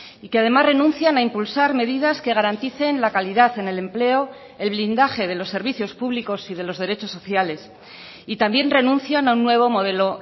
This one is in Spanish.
y que además renuncian a impulsar medidas que garanticen la calidad en el empleo el blindaje de los servicios públicos y de los derechos sociales y también renuncian a un nuevo modelo